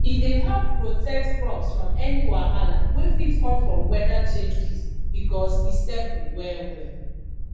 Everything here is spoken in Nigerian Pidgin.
e dey help protect crops from any wahala wey fit come from weather changes because e stable well well